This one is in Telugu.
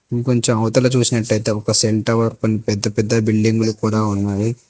ఇంకొంచెం అవతల చూసినట్టయితే ఒక సెల్ టవర్ కొన్ పెద్ద పెద్ద బిల్డింగు లు కూడా ఉన్నవి.